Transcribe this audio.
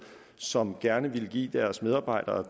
som gerne ville give deres medarbejdere